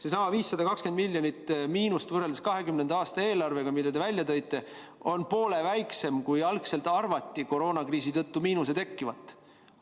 Seesama 520 miljonit miinust võrreldes 2020. aasta eelarvega, mille te välja tõite, on poole väiksem, kui algselt arvati koroonakriisi tõttu miinust tekkivat.